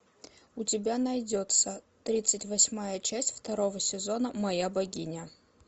у тебя найдется тридцать восьмая часть второго сезона моя богиня